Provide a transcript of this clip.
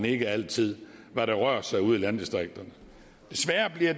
ikke altid hvad der rører sig ude i landdistrikterne